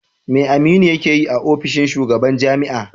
Me Aminu yake yi a ofishin shugaban jami'a?